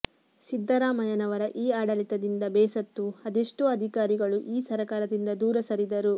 ಸಿದ್ದರಾಮಯ್ಯನವರ ಈ ಆಡಳಿತದಿಂದ ಬೇಸತ್ತು ಅದೆಷ್ಟೋ ಅಧಿಕಾರಿಗಳು ಈ ಸರಕಾರದಿಂದ ದೂರ ಸರಿದರು